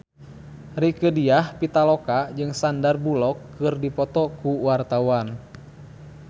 Rieke Diah Pitaloka jeung Sandar Bullock keur dipoto ku wartawan